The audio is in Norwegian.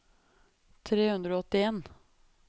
tre hundre og åttien